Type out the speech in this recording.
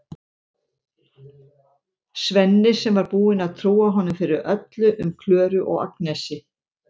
Svenni sem var búinn að trúa honum fyrir öllu um Klöru og Agnesi.